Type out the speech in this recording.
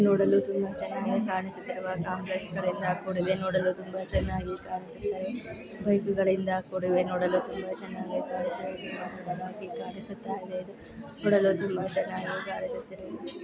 ನೋಡಲು ತುಂಬಾ ಚನ್ನಾಗಿ ಕಾಣಿಸುತ್ತಿರುವ ಕಾಂಪ್ಲೆಕ್ಸ್ಗಳಿಂದ ಕೂಡಿದೆ ನೋಡಲು ತುಂಬಾ ಚನ್ನಾಗಿ ಕಾಣಿಸುತ್ತಾಯಿದೆ ಬೈಕೆಗುಳಿಂದ ಕೂಡಿವೆ ನೋಡಲು ತುಂಬಾ ಚನ್ನಾಗಿ ಕಾಣಿಸುತ್ತಿದೆ. ಕಾಣಿಸುತ್ತಾಯಿದೆ ಇದು